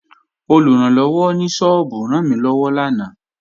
Olùrànlọ́wọ́ ní sọ́ọ́bù rànmílọ́wọ́ lánàá